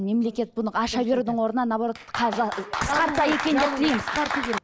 мемлекет бұны аша берудің орнына наоборот қысқартса екен деп тілейміз